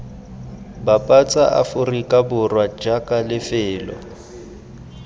bapatsa aforika borwa jaaka lefelo